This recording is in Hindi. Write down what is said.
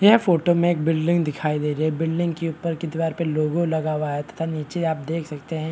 यह फोटो में एक बिल्डिंग दिखाई दे रही है बिल्डिंग के दिवार के ऊपर मे दिवार पे एक लोगो लगा हुआ है तथा नीचे आप देख सकते है --